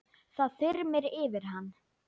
Það þyrmir yfir hann.